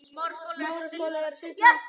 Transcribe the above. Það var æði.